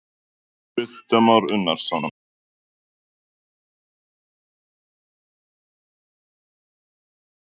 Kristján Már Unnarsson: Hvað veldur því að það er ekki hægt að friðlýsa?